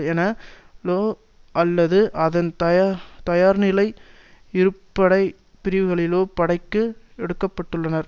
என லோ அல்லது அதன் தாயார்நிலை இருப்புப்படை பிரிவுகளிலோ படைக்கு எடுக்கப்பட்டுள்ளனர்